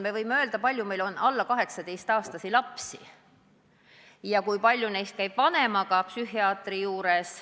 Me võime öelda, kui palju meil on alla 18-aastasi lapsi ja kui palju neist käib vanemaga psühhiaatri juures.